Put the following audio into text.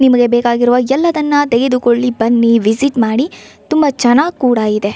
ನಿಮಗೆ ಬೇಕಾಗಿರೋ ಎಲ್ಲದನ್ನಾ ತೆಗೆದುಕೊಳ್ಳಿ ಬನ್ನಿ ವಿಸಿಟ್ ಮಾಡಿ ತುಂಬಾ ಚನ್ನಾಗಿ ಕೂಡ ಇದೆ.